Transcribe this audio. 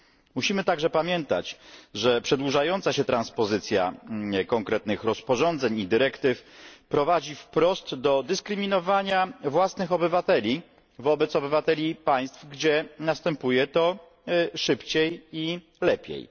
Musimy także pamiętać, że przedłużająca się transpozycja konkretnych rozporządzeń i dyrektyw prowadzi wprost do dyskryminowania własnych obywateli wobec obywateli państw, gdzie następuje to szybciej i lepiej.